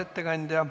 Ei näe.